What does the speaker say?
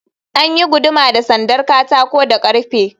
An yi guduma da sandar katako da ƙarfe.